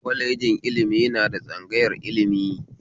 Kwalejin ilimi na da tsangayar ilimi